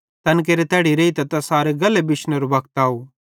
तैन केरे तैड़ी रेइतां तैसारे गल्हे बिशनेरो वक्त आव